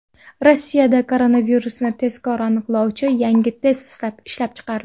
Rossiyada koronavirusni tezkor aniqlovchi yangi test ishlab chiqildi.